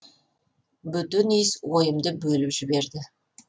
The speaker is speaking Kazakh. бөтен иіс ойымды бөліп жіберді